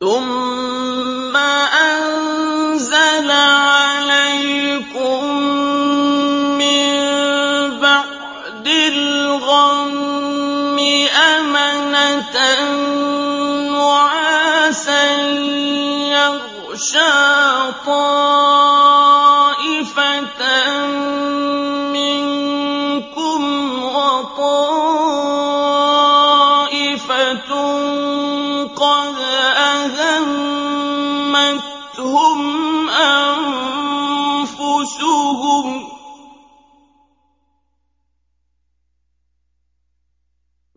ثُمَّ أَنزَلَ عَلَيْكُم مِّن بَعْدِ الْغَمِّ أَمَنَةً نُّعَاسًا يَغْشَىٰ طَائِفَةً مِّنكُمْ ۖ